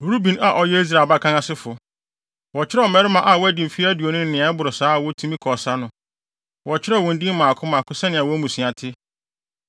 Ruben a ɔyɛ Israel abakan asefo: Wɔkyerɛw mmarima a wɔadi mfe aduonu ne nea ɛboro saa a wotumi kɔ ɔsa no, wɔkyerɛw wɔn din mmaako mmaako sɛnea wɔn mmusua te.